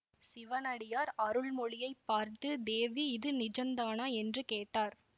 சிவனடியார் அருள்மொழியைப் பார்த்து தேவி இது நிஜந்தானா என்று கேட்டார்